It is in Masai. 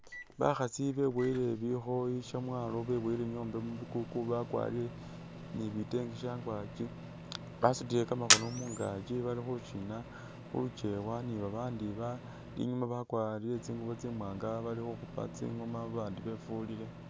Bakhaasi beboyele bikhoyi shemwalo beboyele nyombe mu bikuku bakwarire ni bite bitenge shangwaki ,basutile kamakhono mungaakyi bali khushina khu lukyewa ni babandi ba inyuma bakwarire tsingubo tsimwanga bali khukhupa tsingoma babandi befulile